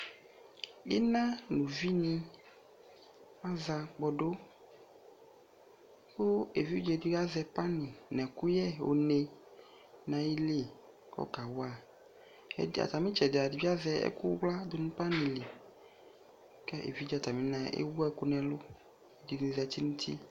Ina no uvi ne aza kpɔdu ko evidze edigbo azɛ pani nɛ ɛkyyɛ oni nayili kɔka wa, kɛ de aza netsɛde ata be azɛ ɛkuwla do no pani li, kɛ evidze atame naɛ ewu ɛku nɛlu zi zanti no uti